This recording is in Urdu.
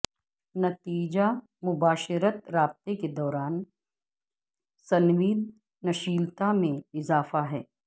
نتیجہ مباشرت رابطے کے دوران سنویدنشیلتا میں اضافہ ہے